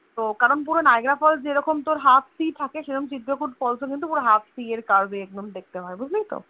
তো কারন পুরো Niagra falls যেরকম তোর Half see সেরম চিত্রকূট falls ও কিন্তু পুরো Half see এর curve এ একদম দেখতে হয় বুঝলিত